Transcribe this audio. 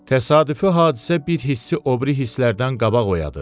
Təsadüfi hadisə bir hissi o biri hisslərdən qabaq oyadır.